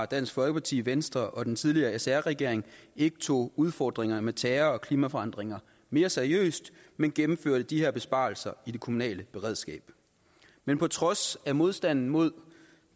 dansk folkeparti venstre og den tidligere sr regering ikke tog udfordringerne med terror og klimaforandringerne mere seriøst men gennemførte de her besparelser i det kommunale beredskab men på trods af modstanden mod